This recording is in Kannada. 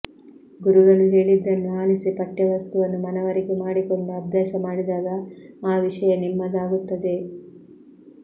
ಗುರುಗಳು ಹೇಳಿದ್ದನ್ನು ಆಲಿಸಿ ಪಠ್ಯವಸ್ತುವನ್ನು ಮನವರಿಕೆ ಮಾಡಿಕೊಂಡು ಅಭ್ಯಾಸಮಾಡಿದಾಗ ಆ ವಿಷಯ ನಿಮ್ಮದಾಗುತ್ತದೆ